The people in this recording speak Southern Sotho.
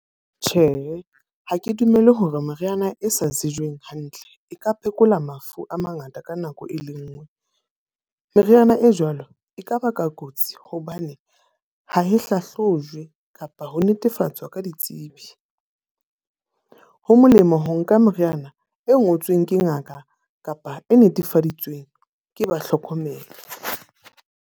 Tjhe, ha ke dumele hore meriana e sa tsejweng hantle e ka phekola mafu a mangata ka nako e le nngwe. Meriana e jwalo e ka baka kotsi hobane ha e hlahlojwe kapa ho netefatsa ka ditsebi. Ho molemo ho nka moriana e ngotsweng ke ngaka kapa e netefaditsweng ke ba hlokomedi.